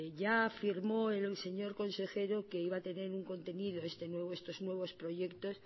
ya afirmó el señor consejero que iba a tener un contenido estos nuevos proyectos